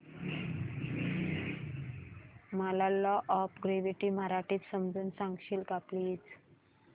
मला law of gravity मराठीत समजून सांगशील का प्लीज